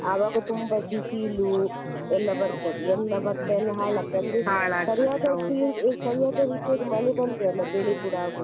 ಆವಾಗ ತುಂಬಾ ಬಿಸಿಲು ಎಲ್ಲ ಬರ್ತದೆ ಎಲ್ಲಾ ಭತ್ತ ಎಲ್ಲ ಹಾಳಾಗ್ತದೆ ಅಂದ್ರೆ ಸರಿಯಾದ ರೀತಿಯಲ್ಲಿ ಮಳೆ ಬಂದ್ರೆ ಅಲ್ಲ ಬೆಳೆ ಕೂಡ ಆಗುದು.